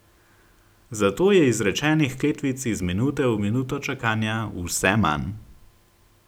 Zato je izrečenih kletvic iz minute v minuto čakanja vse manj.